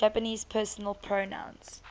japanese personal pronouns